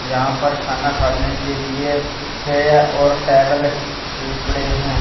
यहां पर खाना खाने के लिए चेयर और टेबल भी पड़े हैं।